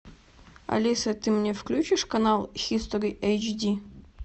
алиса ты мне включишь канал хистори эйч ди